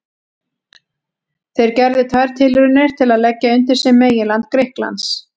Þeir gerðu tvær tilraunir til að leggja undir sig meginland Grikklands.